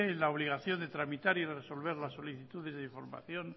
la obligación de tramitar y resolver las solicitudes de información